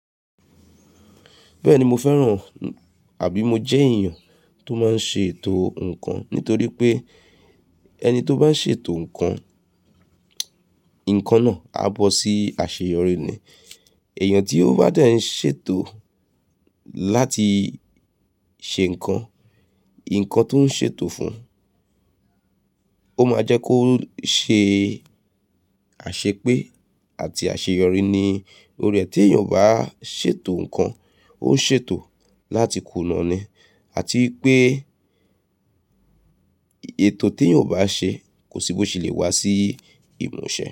Bẹ́ẹ̀ni, mo fẹ́ràn àbí mo jẹ́ èèyàn tó máa n ṣe ètò nǹkan nítorí pé ẹni tó bá n ṣe ètò nǹkan, nǹkan náà á bọ́ sí àṣeyọrí ni. Ẹ̀yàn tí ó bá dẹ́ n ṣe ètò láti ṣe nǹkan, nǹkan tó ń ṣe ètò fún ò máa jẹ́ kó ṣe àṣepé àti àṣeyọrí ni. To ri ẹ, ti èèyàn o bá ṣeètò nǹkan, ó ń ṣe ètò láti kùnà ni àti pé ètò tí èèyàn bá ṣe kò sí bó ṣe lè wá sí ìmúṣẹ.